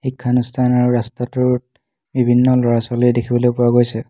শিক্ষানুষ্ঠানৰ ৰাস্তাটোত বিভিন্ন ল'ৰা-ছোৱালী দেখিবলৈ পোৱা গৈছে।